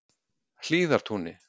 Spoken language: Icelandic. Hlíðartúni